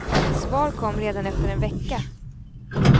Svar kom redan efter en vecka.